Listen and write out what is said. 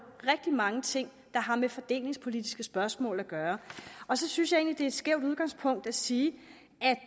rigtig mange ting der har med fordelingspolitiske spørgsmål at gøre og så synes jeg egentlig skævt udgangspunkt at sige